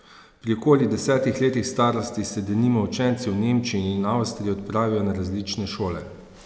Pri okoli desetih letih starosti se denimo učenci v Nemčiji in Avstriji odpravijo na različne šole.